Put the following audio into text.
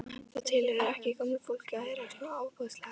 Það tilheyrði ekki gömlu fólki að heyra svona ofboðslega vel.